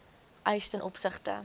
eis ten opsigte